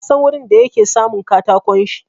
Na san wurin da yake samun katakon shi.